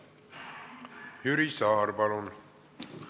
Jüri Saar, palun!